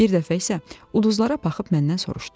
Bir dəfə isə uduzlara baxıb məndən soruşdu.